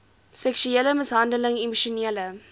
seksuele mishandeling emosionele